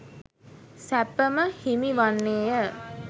සැප ම හිමි වන්නේ ය.